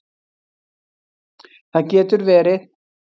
Það getur verið